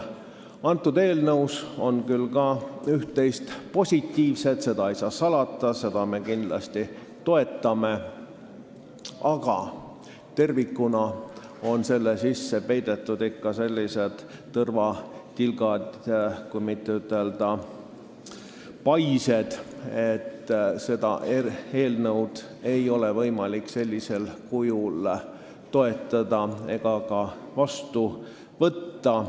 Selles eelnõus on küll ka üht-teist positiivset, seda ei saa salata ja seda me kindlasti toetame, aga tervikuna on selle sisse peidetud ikka sellised tõrvatilgad, kui mitte ütelda "paised", nii et seda eelnõu ei ole võimalik sellisel kujul toetada ega ka seadusena vastu võtta.